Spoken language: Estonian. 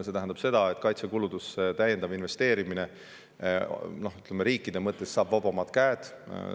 See tähendab seda, et kaitsekuludesse täiendav investeerimine riikide mõttes saab vabamad käed.